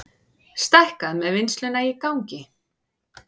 Stækkað með vinnsluna í gangi